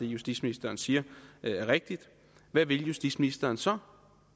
justitsministeren siger er rigtigt hvad vil justitsministeren så